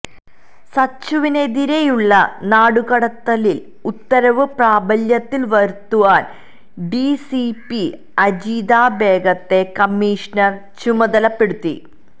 സച്ചുവിനെതിരെയുള്ള നാടുകടത്തില് ഉത്തരവ് പ്രാബല്യത്തില് വരുത്തുവാന് ഡിസിപി അജീതാബേഗത്തെ കമ്മിഷണര് ചുമതലപ്പെടുത്തി